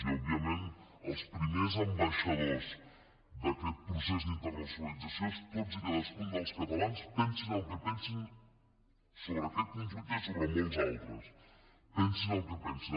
i òbviament els primers ambaixadors d’aquest procés d’internacionalització són tots i cadascun dels catalans pensin el que pensin sobre aquest conflicte i sobre molts altres pensin el que pensin